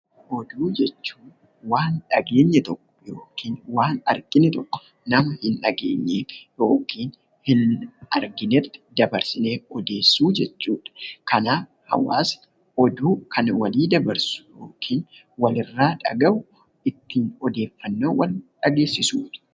Oduu jechuun waan dhageenye tokko yookiin waan argine tokko nama hin dhageenyeef yookiin hin arginetti dabarsinee odeessuu jechuudha. Kanaaf hawaasni oduu kana walii dabarsu yookiin walirraa dhaga'u ittiin odeeffannoowwan dhageessisuudha.